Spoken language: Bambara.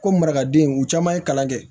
Ko marakadenw u caman ye kalan kɛ